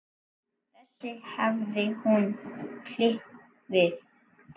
þessu hafði hún klifað.